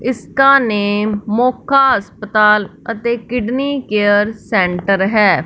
इसका नेम मोखा अस्पताल अते किडनी केयर सेंटर है।